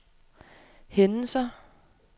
hændelser